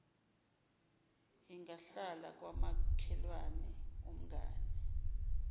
ingahlala kwamakhelwane umngane